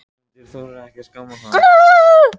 En hefur hún ákveðið hvað hún gerir næsta sumar?